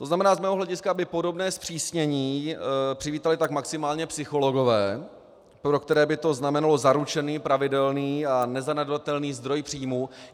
To znamená, z mého hlediska by podobné zpřísnění přivítali tak maximálně psychologové, pro které by to znamenalo zaručený, pravidelný a nezanedbatelný zdroj příjmů.